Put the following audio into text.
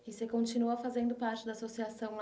E você continua fazendo parte da associação?